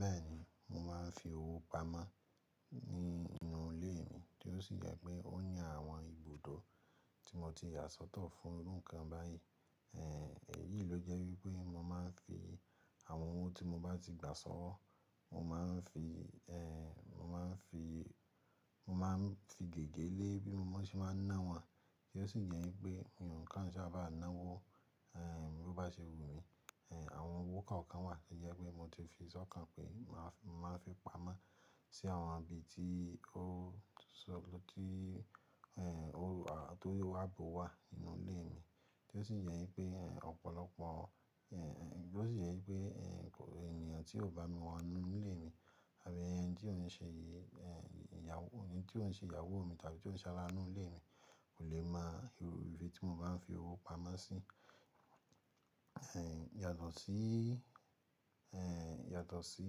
Bẹ́ẹ̀ ni, mo máa ń fi owó pamọ́ nínú ilé mi, tí ó sì jẹ́ pé ó ní àwọn ibùdó tí mo ti yà sọ́tọ̀ fún irú ńǹkan báyìí. Ẹ̀ yìí ló jẹ́ wípé mo máa ń fi àwọn owó tí mo bá ti gbà sọ́wọ́, mo máa ń fi, mo máa ń fi, mo máa ń fi gègé lé bí mo ṣe máa ń ná wọn. Kí ó sì jẹ́ pé ńǹkan tí a bá ná wó, ẹ́, bí ó bá ṣe wú mi, ẹ́, àwọn owó kọ̀ọ̀kan wà kí ó jẹ́ pé mo ti fi sọ́ọ̀ kan pé mo máa fi, máa fi pamọ́ sí àwọn ibi tí ó ṣo-- ló ti, ẹ́, ó wà, tó yóò wá bu wa nínú ilé mi. Tí ó sì jẹ́ pé ènìyàn tí ò bá mi mọ inú ilé mi àbí ẹni tí ò ń ṣe ìyàwó mi tàbí tí ò ń ṣara inú ilé mi kò lè mọ ibi tí mo bá ń fi owó pamọ́ sí. Yàtọ̀ sí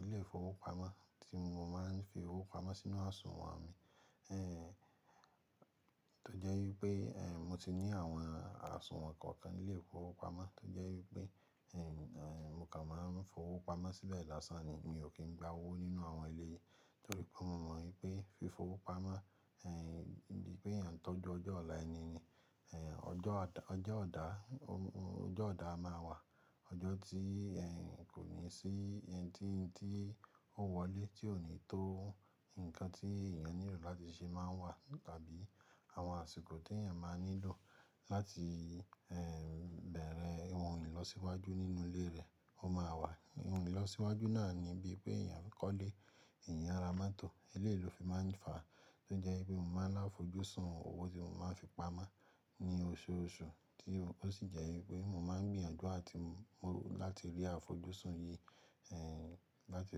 ilé ìfowópamọ́ tí mo máa ń fi owó pamọ́ sínú àsùnwọ̀n mi. Tó jẹ́ wípé, mo ti ní àwọn àsùnwọ̀n kọ̀ọ̀kan nílé ìfowópamọ́ tó jẹ́ wípé, mo kàn máa ń fowó pamọ́ síbẹ̀ lásán ni. Mi ò kí ń gba owó nínú àwọn ieleyìí, torí pé mo mọ̀ wípé fi fowó pamọ́, bi pé ẹ̀eyàn tó ju ọjọ́ ọ̀la ẹni ni. Ọjọ ìdá maa wa ọjọ́ tí ko ni si ohun tí ó wọlé tí ò ní tó ǹkan tí èèyàn nílò láti ṣe máa wà. Tàbí àwọn àsìkò tí èèyàn máa nílò láti, bẹ̀rẹ̀ ohun ìlọsíwájú nínú ilé rẹ̀ ó máa wà. Ohun ìlọsíwájú náà ni bí pé èèyàn kọ́lé, èèyàn ra moto. Eleyii ló fi máa ń fà á. Tó jẹ́ wípé mo máa ń lá àfojúsùn owó tí mo máa ń fi pamọ́ ní oṣooṣù, tí ó sì jẹ́ wípé mo máa ń gbìyànjú láti rí àfojúsùn yìí, láti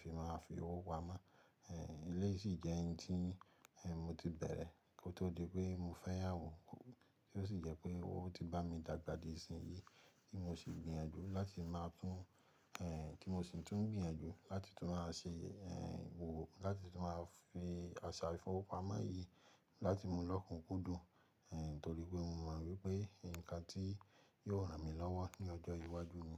fi máa fi owó pamọ́. Eleyìí sì jẹ́ ohun tí mo ti bẹ̀rẹ̀ kó tó di pé mo fẹ́yàwó. Ti ó sì jẹ́ pé ó ti bá mi dàgbà di ìsin yìí tí mo sì ń gbìyànjú láti máa tún, tí mo sì ń tún gbìyànjú láti tún máa ṣe òwò láti tún máa fi àṣà ìfowópamọ́ yìí láti mú lọ́kùn kún dùn. Torí pé mo mọ̀ wípé ǹkan tí yóò ràn mí lọ́wọ́ ní ọjọ́ iwájú mi.